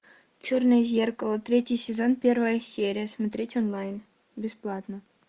черное зеркало третий сезон первая серия смотреть онлайн бесплатно